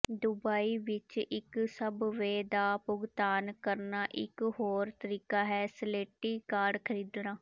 Dubai ਵਿਚ ਇਕ subway ਦਾ ਭੁਗਤਾਨ ਕਰਨਾ ਇਕ ਹੋਰ ਤਰੀਕਾ ਹੈ ਸਲੇਟੀ ਕਾਰਡ ਖਰੀਦਣਾ